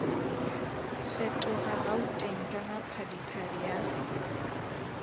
fetoga gauteng ka maphadiphadi a